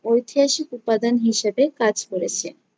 ঐতিহাসিক উপাদান হিসেবে কাজ করেছে।